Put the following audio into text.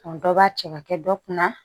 Ɔ dɔ b'a cɛ ka kɛ dɔ kunna